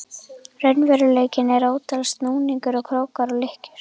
raunveruleikanum eru ótal snúningar og krókar og lykkjur.